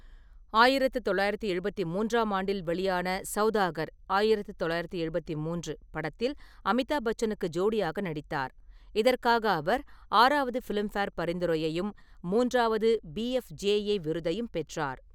ஆயிரத்து தொள்ளாயிரத்து எழுபத்தி மூன்றாம் ஆண்டில் வெளியான சவுதாகர் (ஆயிரத்து தொள்ளாயிரத்து எழுபத்தி மூன்று) படத்தில் அமிதாப் பச்சனுக்கு ஜோடியாக நடித்தார், இதற்காக அவர் ஆறாவது ஃபிலிம்ஃபேர் பரிந்துரையையும் மூன்றாவது பிஎஃப்ஜேஏ விருதையும் பெற்றார்.